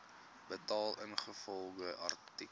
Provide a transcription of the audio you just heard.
betaal ingevolge artikel